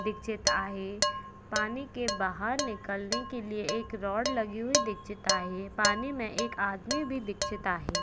दिक्चित आहे. पाणी के बाहर निकलने के लिए एक रॉड लगी हुई दिक्चित आहे. पानी मे एक आदमी भी दिक्चित आहे.